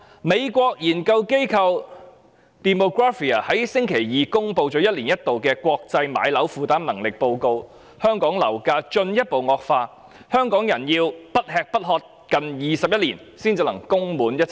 美國研究機構 Demographia 在星期二公布一年一度的國際樓價負擔能力報告，指出香港樓價進一步惡化，香港人要不吃不喝近21年才可以供滿一層樓。